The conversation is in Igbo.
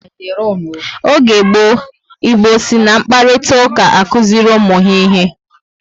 Oge gboo, Igbo si na mkparitauka akuziri ụmụ ha ihe